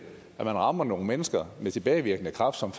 og man rammer nogle mennesker med tilbagevirkende kraft som